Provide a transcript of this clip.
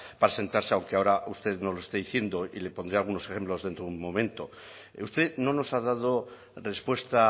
para sentarse aunque ahora usted nos lo esté diciendo y le pondré algunos ejemplos dentro de un momento usted no nos ha dado respuesta